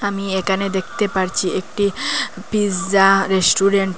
আমি এখানে দেখতে পারছি একটি পিৎজা রেস্টুরেন্ট ।